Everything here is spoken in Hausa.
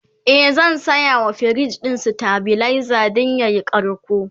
e zan sayawa firij ɗin stabilizer Dan yayi karko